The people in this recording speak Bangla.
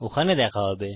ওখানে দেখা হবে